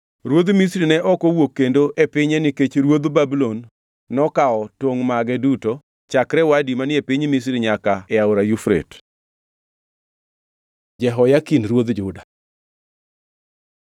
Ruodh Misri ne ok owuok kendo e pinye nikech ruodh Babulon nokawo tongʼ mage duto chakre Wadi manie piny Misri nyaka e Aora Yufrate. Jehoyakin ruodh Juda